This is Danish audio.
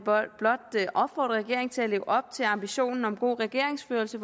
blot opfordre regeringen til at leve op til ambitionen om god regeringsførelse